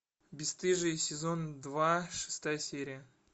бесстыжие сезон два шестая серия